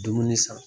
Dumuni san